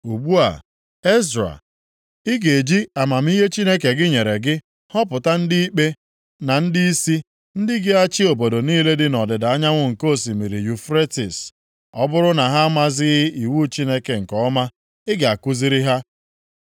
“Ugbu a, Ezra, ị ga-eji amamihe Chineke gị nyere gị họpụta ndị ikpe, na ndịisi, ndị ga-achị obodo niile dị nʼọdịda anyanwụ nke osimiri Yufretis. Ọ bụrụ na ha amazighị iwu Chineke nke ọma, ị ga-akụziri ha.